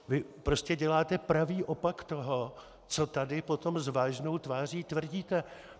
Vy prostě děláte pravý opak toho, co tady potom s vážnou tváří tvrdíte.